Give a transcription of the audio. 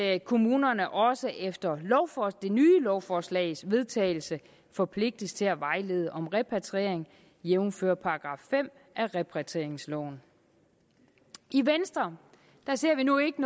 at kommunerne også efter det nye lovforslags vedtagelse forpligtes til at vejlede om repatriering jævnfør § fem i repatrieringsloven i venstre ser vi nu ikke